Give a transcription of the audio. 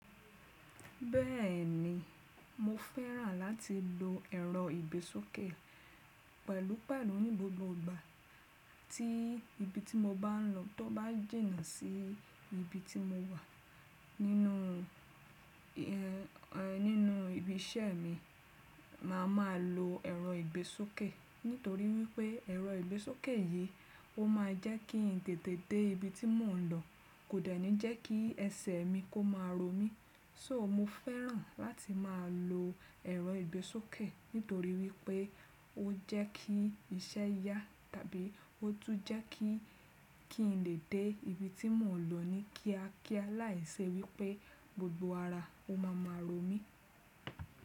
Bẹ́ẹ̀ni, mo fẹ́ràn láti lo ẹ̀rọ ìgbésókè pẹ̀lú, pẹ̀lú ní gbogbo ìgbà tí ibi tí mo bá ń lọ tó bá jìnà sí ibi tí mo wà nínú, ẹ, ẹ, nínú ibi iṣẹ́ mi, màá máa lo ẹ̀rọ ìgbésókè. Nítorí wípé ẹ̀rọ ìgbésókè yìí ó máa jẹ́ kí n tètè dé ibi tí mò ń lọ, kò dẹ̀ ní jẹ́ kí ẹsẹ̀ mi kó máa ro mí. So mo fẹ́ràn láti máa lo ẹ̀rọ ìgbésókè nítorí wípé ó jẹ́ kí iṣẹ́ yá tàbí ó tún jẹ́ kí, kí n lè dé ibi tí mò ń lọ ní kíákíá láìṣe wípé gbogbo ara ó ma ma ro mí.